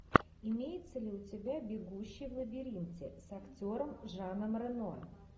имеется ли у тебя бегущий в лабиринте с актером жаном рено